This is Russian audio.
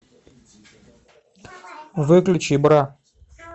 выключи бра